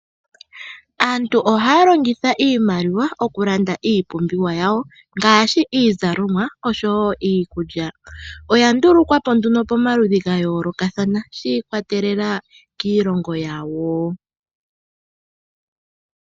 Aantu oha ya longitha, iimaliwa oku landa iipumbiwa yawo, ngaashi iizalomwa osho wo iikulya. Oya ndulukwapo nduno, pomaludhi ga yoolokathana, shi ikwatelelela kiilongo yawo.